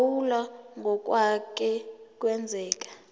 phawula ngokwake kwenzeka